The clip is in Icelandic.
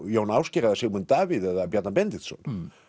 Jón Ásgeir eða Sigmund Davíð eða Bjarna Benediktsson